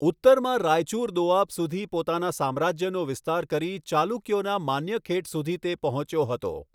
ઉત્તરમાં રાયચુર દોઆબ સુધી પોતાના સામ્રાજ્યનો વિસ્તાર કરી ચાલુકયોના માન્યખેટ સુધી તે પહોંચ્યો હતો.